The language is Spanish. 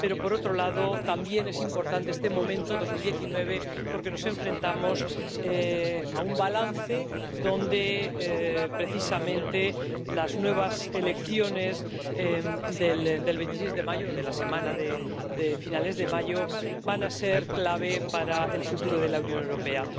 Pero también es importante este momento, 2019, porque nos enfrentamos a un balance donde precisamente las nuevas elecciones del 26 de mayo —de la semana de finales de mayo— van a ser clave para el futuro de la Unión Europea.